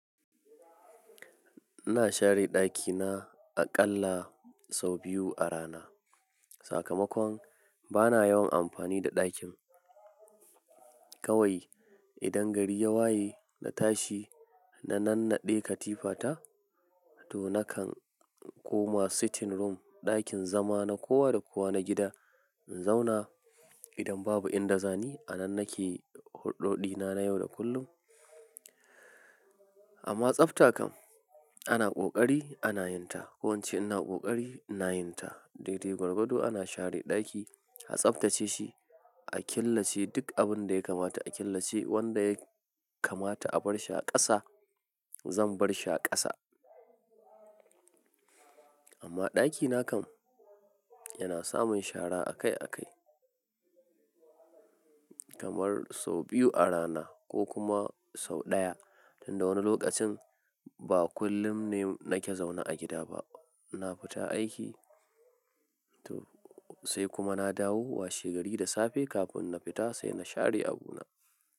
Ina share ɗakina aƙalla sau biyu a rana. Sakamakon bana yawan amfani da ɗakin, Kawai, idan gari ya waye na tashi na nannaɗe katifa ta, to nakan koma sitting room, ɗakin zama na kowa da kowa na gida in zauna, idan babu inda zani, a nan nake hurɗoɗina na yau da kullum, amma tsafta kam, ana ƙoƙari ana yin ta. Ko ince ina ƙoƙari ina yin ta. Daidai gwargwado ana share ɗaki, a tsaftace shi, a killace duk abin da ya kamata a killace, wanda ya kamata a bar shi a ƙasa, zan bar shi a ƙasa. Amma ɗakina kam yana samun shara akai akai. Kamar sau biyu a rana ko kuma sau ɗaya. Tun da wani loƙacin ba kullum ne nake zaune a gida ba. Ina fita aiki, toh, sai kuma na dawo washegari da safe kafin na fita sai na sha re abuna.